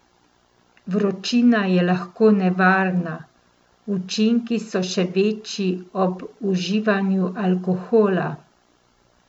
Vročina je lahko nevarna, učinki so še večji ob uživanju alkohola.